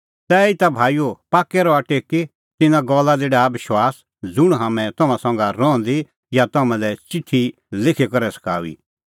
तैहीता भाईओ पाक्कै रहा टेकी तिन्नां गल्ला दी डाहा विश्वास ज़ुंण हाम्हैं तम्हां संघै रहंदी या तम्हां लै च़िठी लिखी करै सखाऊई